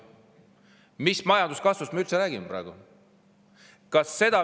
Mis majanduskasvust me üldse räägime praegu?